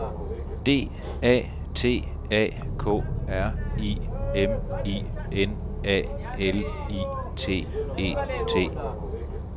D A T A K R I M I N A L I T E T